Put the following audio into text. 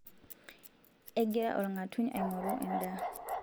egira olng'atuny aingoru endaa